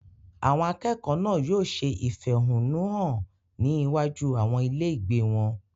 Àwọn akẹ́kọ̀ọ́ náà yóò ṣe ìfẹ̀húnnún hàn ní iwájú àwọn ilé ìgbé wọn.